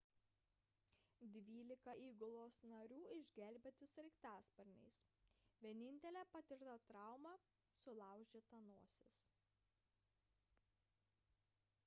dvylika įgulos narių išgelbėti sraigtasparniais vienintelė patirta trauma – sulaužyta nosis